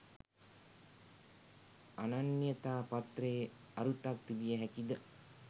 අනන්‍යතා පත්‍රයේ අරුතක් තිබිය හැකි ද?